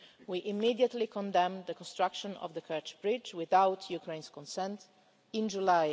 We immediately condemned the construction of the Kerch Bridge without Ukraine's consent, in July.